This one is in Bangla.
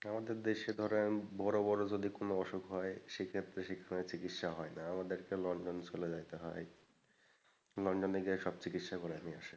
আমাদের দেশে ধরেন বড়ো বড়ো যদি কোন অসুখ হয় সেক্ষত্রে সেখানে চিকিৎসা হয়না, আমাদেরকে লন্ডনে চলে যাইতে হয়। লন্ডনে গিয়ে সব চিকিৎসা করে নিয়ে আসে।